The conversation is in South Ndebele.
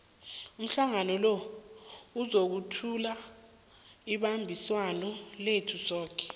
umhlangano lo uzokuthula ibambiswano lethu soke